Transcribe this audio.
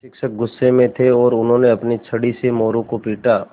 शिक्षक गुस्से में थे और उन्होंने अपनी छड़ी से मोरू को पीटा